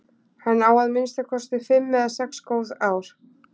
Hann á að minnsta kosti fimm eða sex góð ár.